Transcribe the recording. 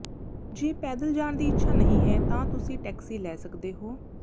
ਜੇ ਪੈਦਲ ਜਾਣ ਦੀ ਇੱਛਾ ਨਹੀਂ ਹੈ ਤਾਂ ਤੁਸੀਂ ਟੈਕਸੀ ਲੈ ਸਕਦੇ ਹੋ